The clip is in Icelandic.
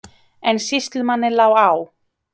En sýslumanni lá á.